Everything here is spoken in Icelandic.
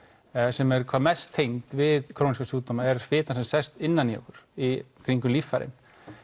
sem er hvað mest tengd við króníska sjúkdóma er fitan sem sest innan í okkur í kringum líffærin